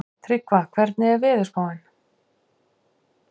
Tryggva, hvernig er veðurspáin?